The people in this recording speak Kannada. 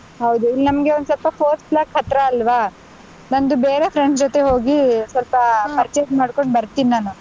ಹೌದು. ಇಲ್ ನಮ್ಗೆ ಒಂದ್ ಸ್ವಲ್ಪ fourth block ಹತ್ರ ಅಲ್ವಾ, ನಂದು ಬೇರೆ friends ಜೊತೆ ಹೋಗಿ ಸ್ವಲ್ಪ ಮಾಡಕೊಂಡ್ ಬರ್ತೀನ್ ನಾನು.